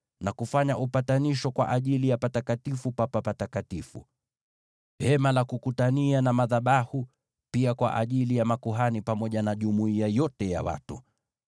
na kufanya upatanisho kwa ajili ya Patakatifu pa Patakatifu, Hema la Kukutania na madhabahu, na pia kwa ajili ya makuhani, pamoja na jumuiya yote ya watu.